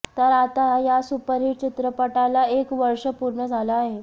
तर आता या सुपरहीट चित्रपटाला एक वर्ष पूर्ण झालं आहे